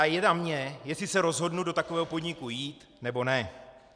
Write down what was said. A je na mně, jestli se rozhodnu do takového podniku jít, nebo ne.